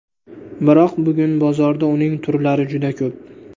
Biroq bugun bozorda uning turlari juda ko‘p.